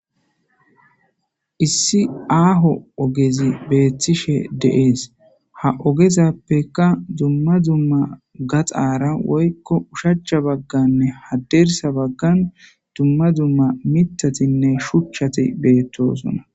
Issi aaho ogezi beettishe deees ha ogezappeka dumma dzumma gaxaara woykko ushacha bagganne hadeersa baggan dumma dzumma mitatinne shuchchati beettosona